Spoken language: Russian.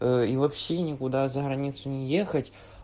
и вообще никуда за границу не ехать